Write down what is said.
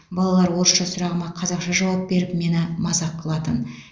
балалар орысша сұрағыма қазақша жауап беріп мені мазақ қылатын